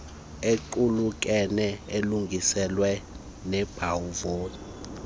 equkeneyo elungisiweyo nenobumvoco